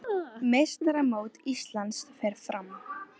Meistaramót Íslands fer fram